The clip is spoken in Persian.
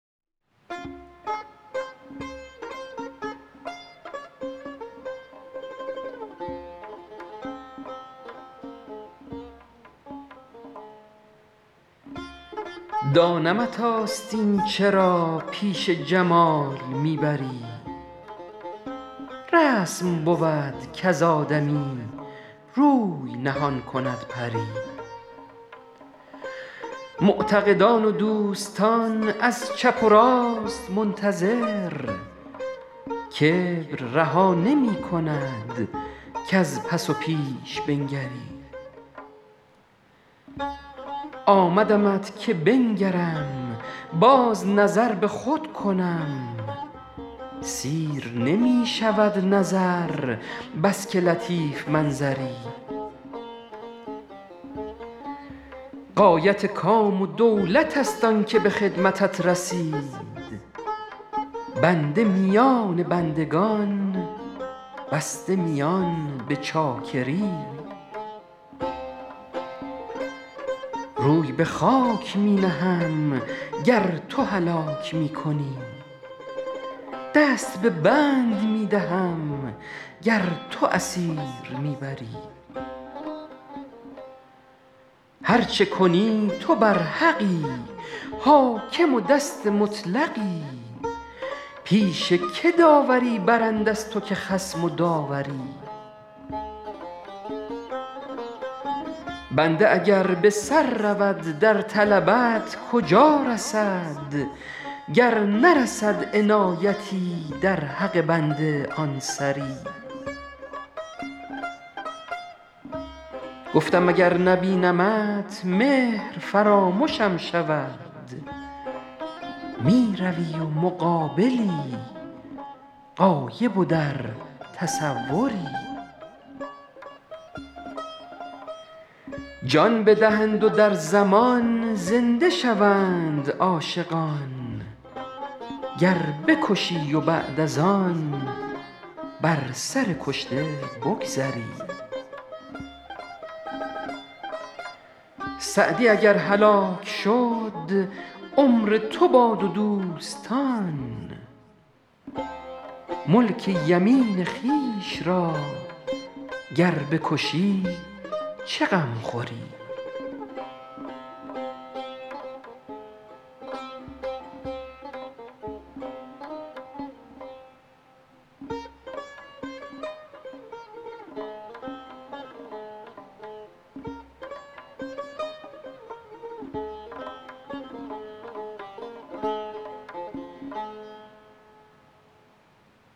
دانمت آستین چرا پیش جمال می بری رسم بود کز آدمی روی نهان کند پری معتقدان و دوستان از چپ و راست منتظر کبر رها نمی کند کز پس و پیش بنگری آمدمت که بنگرم باز نظر به خود کنم سیر نمی شود نظر بس که لطیف منظری غایت کام و دولت است آن که به خدمتت رسید بنده میان بندگان بسته میان به چاکری روی به خاک می نهم گر تو هلاک می کنی دست به بند می دهم گر تو اسیر می بری هر چه کنی تو برحقی حاکم و دست مطلقی پیش که داوری برند از تو که خصم و داوری بنده اگر به سر رود در طلبت کجا رسد گر نرسد عنایتی در حق بنده آن سری گفتم اگر نبینمت مهر فرامشم شود می روی و مقابلی غایب و در تصوری جان بدهند و در زمان زنده شوند عاشقان گر بکشی و بعد از آن بر سر کشته بگذری سعدی اگر هلاک شد عمر تو باد و دوستان ملک یمین خویش را گر بکشی چه غم خوری